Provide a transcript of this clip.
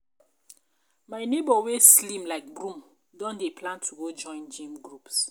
my nebor wey slim like broom don dey plan to go join gym groups